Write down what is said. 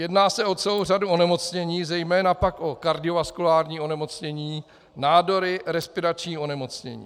Jedná se o celou řadu onemocnění, zejména pak o kardiovaskulární onemocnění, nádory, respirační onemocnění.